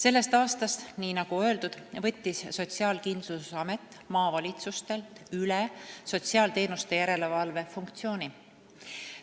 Sellest aastast, nagu öeldud, võttis Sotsiaalkindlustusamet maavalitsustelt üle sotsiaalteenuste järelevalve funktsiooni.